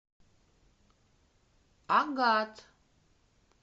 агат